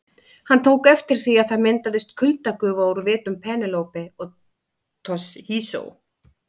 Hann tók eftir því að það myndaðist kuldagufa úr vitum Penélope og Toshizo.